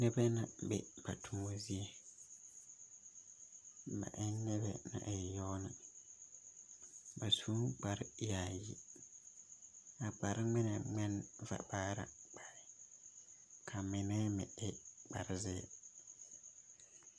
Noba mine la be ba toma zie, ba e la noba naŋ e yaga lɛ, ba su la kparreyaayi a mine waa nyɛ vamaara ka a mine meŋ e boŋziiri